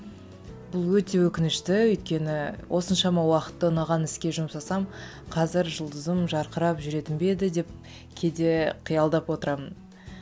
бұл өте өкінішті өйткені осыншама уақытты ұнаған іске жұмсасам қазір жұлдызым жарқырап жүретін бе еді деп кейде қиялдап отырамын